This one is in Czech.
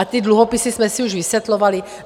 A ty dluhopisy jsme si už vysvětlovali.